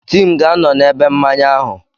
Tim ga-anọ na ebe mmanya ahụ.